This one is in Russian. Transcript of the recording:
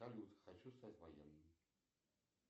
салют хочу стать военным